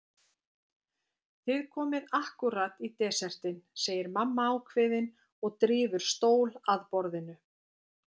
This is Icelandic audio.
Þið komið ákkúrat í desertinn, segir mamma ákveðin og drífur stól að borðinu.